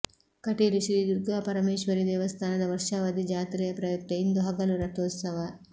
ಕಟೀಲು ಶ್ರೀ ದುರ್ಗಾ ಪರಮೇಶ್ವರೀ ದೇವಸ್ಥಾನದ ವರ್ಷಾವಧಿ ಜಾತ್ರೆಯ ಪ್ರಯುಕ್ತ ಇಂದು ಹಗಲು ರಥೋತ್ಸವ